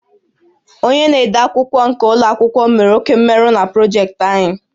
Onye na-ede akwụkwọ nke ụlọ akwụkwọ mere oke mmerụ na projektị anyị